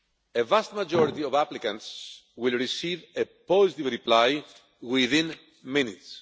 The vast majority of applicants will receive a positive reply within minutes.